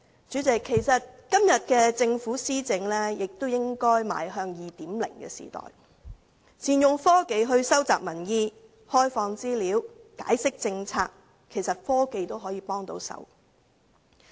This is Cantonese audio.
主席，其實今天政府的施政亦應邁向 2.0 的時代，善用科技來收集民意，開放資料，解釋政策；其實科技能幫得上忙。